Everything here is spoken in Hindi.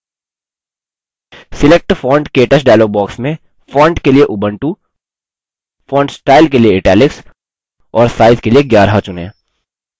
select font – ktouch dialog box में font के लिए ubuntu font style के लिए italics और size के लिए 11 चुनें